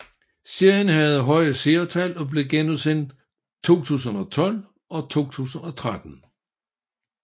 Serien havde høje seertal og blev genudsendt i 2012 og 2013